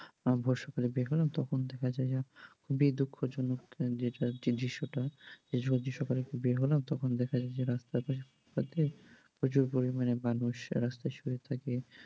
বর্ষাকালে বের হলাম তখন দেখা যায় যে খুবই দুঃখজনক যেটা যে দৃশ্যটা, তখন দেখা যায় যে বর্ষাকালে বের হলাম তখন দেখা যে রাস্তাতে প্রচুর পরিমাণ মানুষ রাস্তায় শুয়ে থাকে।